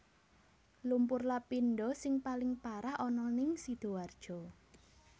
Lumpur Lapindosing paling parah ana ning Sidoarjo